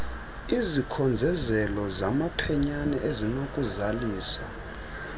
izikhongozelo zamaphenyane ezinokuzaliswa